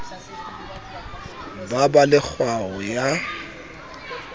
ba ba le kgaoho ya